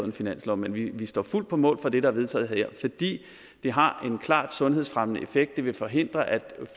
en finanslov men vi står fuldt ud på mål for det der er vedtaget her fordi det har en klart sundhedsfremmende effekt det vil forhindre at